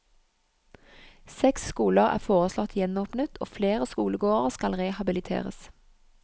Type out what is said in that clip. Seks skoler er foreslått gjenåpnet og flere skolegårder skal rehabiliteres.